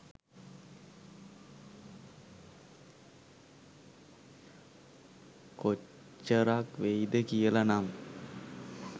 කොච්චරක් වෙයිද කියලනම්.